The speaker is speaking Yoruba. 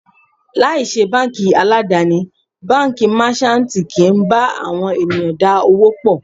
Láì ṣe báńkì aládàni, Báńkì Máṣántìì kì ń bá àwọn ènìyàn dá òwò pọ̀.